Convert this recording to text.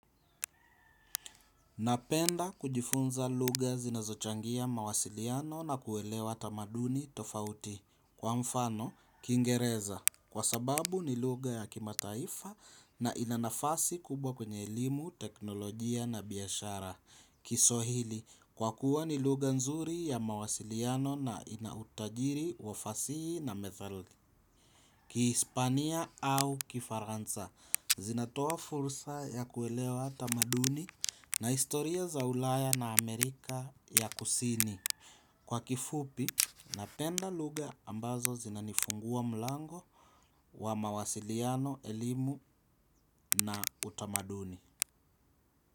Napenda kujifunza lugha zinazochangia mawasiliano na kuelewa tamaduni tofauti. Kwa mfano, Kiingereza. Kwa sababu ni lugha ya kimataifa na ina nafasi kubwa kwenye elimu, teknolojia na biashara. Kiswahili, kwa kuwa ni lugha nzuri ya mawasiliano na ina utajiri wa fasihi na methali. KiHispania au Kifaransa zinatoa fursa ya kuelewa tamaduni na historia za Ulaya na Amerika ya kusini kwa kifupi napenda lugha ambazo zinanifungua mlango wa mawasiliano, elimu na utamaduni.